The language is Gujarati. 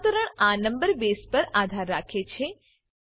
રૂપાંતરણ આ નંબર બેઝ પર આધાર રાખે છે